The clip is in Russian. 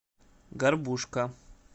горбушка